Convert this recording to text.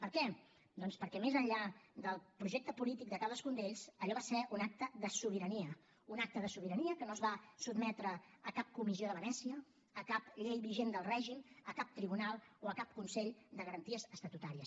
per què doncs perquè més enllà del projecte polític de cadascun d’ells allò va ser un acte de sobirania un acte de sobirania que no es va sotmetre a cap comissió de venècia a cap llei vigent del règim a cap tribunal o a cap consell de garanties estatutàries